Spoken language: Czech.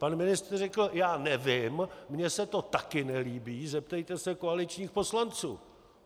Pan ministr řekl: já nevím, mně se to také nelíbí, zeptejte se koaličních poslanců.